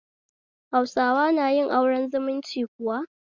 Hausawa na yin aure zumunci kuwa?